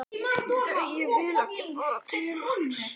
Nei, ég vil ekki fara til hans